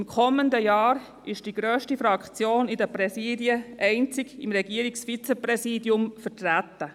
Im kommenden Jahr ist die grösste Fraktion in den Präsidien einzig mit dem Regierungsvizepräsidium vertreten.